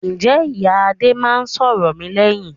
Ǹjẹ́ ìyá Adé máa ń sọ̀rọ̀ mi lẹ́yìn?